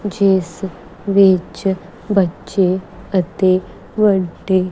ਜਿਸ ਵਿੱਚ ਬੱਚੇ ਅਤੇ ਵੱਡੇ--